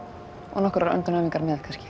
og nokkrar öndunaræfingar með kannski